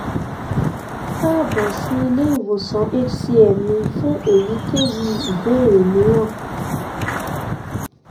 káàbọ̀ sí ilé ìwòsàn hcm mi fún èyíkéyìí ìbéèrè mìíràn